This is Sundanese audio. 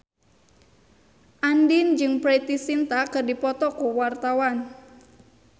Andien jeung Preity Zinta keur dipoto ku wartawan